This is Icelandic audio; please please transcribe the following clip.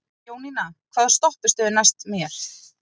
Jónína, hvaða stoppistöð er næst mér?